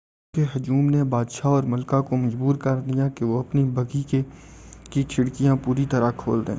لوگوں کے ہجوم نے بادشاہ اور ملکہ کو مجبور کردیا کہ وہ اپنی بگھی کی کھڑکیاں پوری طرح کھول دیں